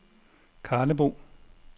Karlebo